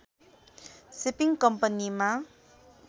shipping कम्पनीमा